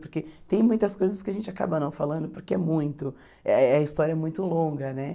Porque tem muitas coisas que a gente acaba não falando, porque é muito, eh a história é muito longa, né?